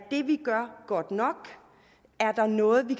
godt nok er der noget vi